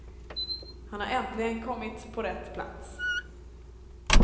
Han har äntligen kommit på rätt plats.